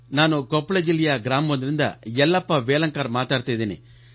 ನಾನು ಕೊಪ್ಪಳ ಜಿಲ್ಲೆಯ ಗ್ರಾಮವೊಂದರಿಂದ ಯಲ್ಲಪ್ಪಾ ವೇಲಾಂಕರ್ ಮಾತಾಡ್ತಾ ಇದ್ದೀನಿ